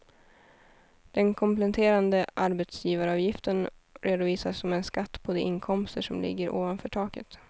Den kompletterande arbetsgivaravgiften redovisas som en skatt på de inkomster som ligger ovanför taket.